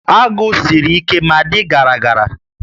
Agụ siri ike ma dị gara gara